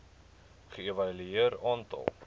ge evalueer aantal